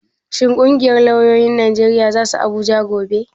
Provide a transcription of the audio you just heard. Shin ƙungiyar lauyoyin Najeriya za su Abuja gobe?